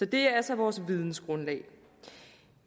det er altså vores vidensgrundlag